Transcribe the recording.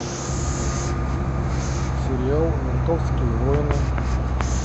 сериал ментовские войны